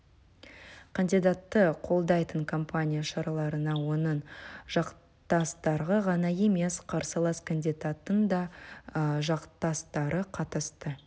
кандидатты қолдайтын компания шараларына оның жақтастары ғана емес қарсылас кандидаттың да жақтастары қатысты